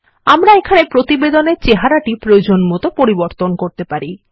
আমরা এখানে প্রতিবেদনের চেহারাটি প্রয়োজনমতো পরিবর্তন করতে পারি